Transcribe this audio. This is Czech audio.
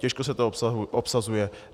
Těžko se to obsazuje.